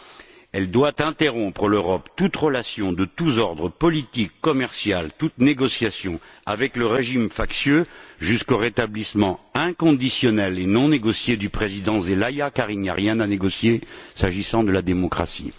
L'Europe doit interrompre toute relation de tous ordres politique, commercial et toute négociation avec le régime factieux jusqu'au rétablissement inconditionnel et non négocié du président Zelaya car il n'y a rien à négocier s'agissant de la démocratie.